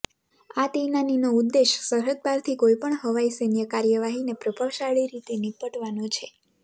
આ તૈનાતીનો ઉદ્દેશ સરહદપારથી કોઇ પણ હવાઇ સૈન્ય કાર્યવાહીને પ્રભાવશાળી રીતે નિપટવાનો છે